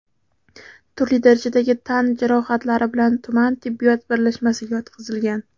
turli darajadagi tan jarohatlari bilan tuman tibbiyot birlashmasiga yotqizilgan.